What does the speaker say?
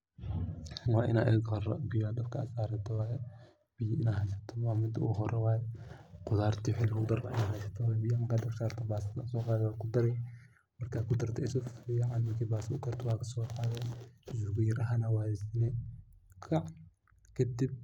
Waina ega hore biyo dabka sarato waye, oo biyo heysato waye .Khudarta iyo wixi lagu dari lahaa inaa heysato waye taas aa so qade waa kudari .Khudarta iyo ba so qadii oo waa kudari waa hagajisane qac kadib.